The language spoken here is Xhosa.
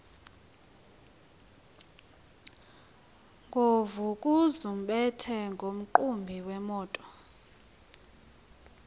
nguvukuzumbethe nomqhubi wemoto